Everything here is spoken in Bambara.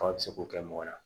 Fa bɛ se k'o kɛ mɔgɔ la